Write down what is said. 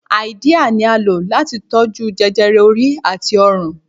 Háídíà ni à ń lò láti tó jú jẹjẹrẹ orí àti ọrùn